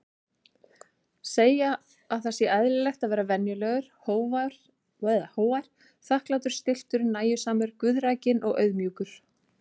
Segja að það sé eðlilegt að vera venjulegur, hógvær, þakklátur, stilltur, nægjusamur, guðrækinn og auðmjúkur.